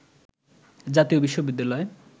জাতীয় বিশ্ববিদ্যালয়